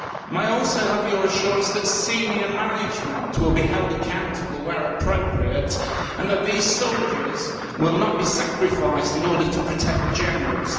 May I also have your assurance that senior management will be held accountable where appropriate, and that these soldiers will not be sacrificed in order to protect the generals?